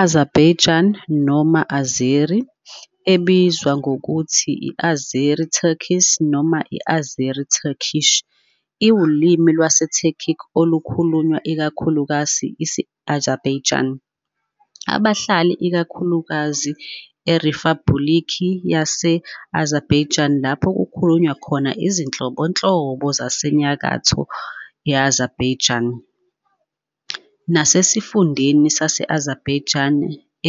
Azerbaijani noma Azeri, ebizwa nangokuthi i-Azeri Turkic noma i-Azeri Turkish, iwulimi lwesiTurkic olukhulunywa ikakhulukazi Isi-Azabaijani, abahlala ikakhulukazi eRiphabhulikhi yase-Azerbaijan lapho kukhulunywa khona izinhlobonhlobo zaseNyakatho Azerbaijani, nasesifundeni sase- Azerbaijan